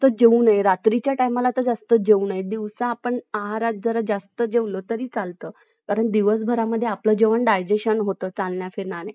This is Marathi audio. जेवू नय रात्रीच्या तेमला तर जस्त जेवू नये दिवसात पण आहारात जर थोडा जस्त जेवला तरी चलता कारण दिवस भर आपला जेवण digestion होत असता चालना फिरण्या मदे